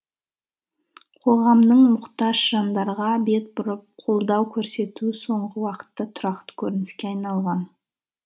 қоғамның мұқтаж жандарға бет бұрып қолдау көрсетуі соңғы уақытта тұрақты көрініске айналған